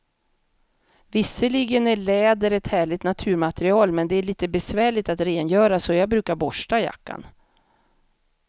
Visserligen är läder ett härligt naturmaterial, men det är lite besvärligt att rengöra, så jag brukar borsta jackan.